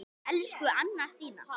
Elsku Anna Stína.